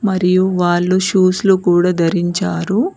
మరియు వాళ్ళు షూస్ లు కూడా ధరించారు.